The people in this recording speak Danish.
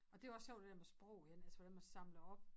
Og det jo også sjovt det dér med sprog igen altså hvordan man samler op